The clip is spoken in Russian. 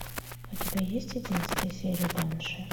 у тебя есть одиннадцатая серия банши